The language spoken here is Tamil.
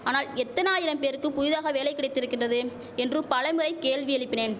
ஆனால் எத்தனாயிரம் பேருக்கு புதிதாக வேலை கிடைத்திருக்கின்றது என்று பலமுறை கேள்வி எழுப்பினேன்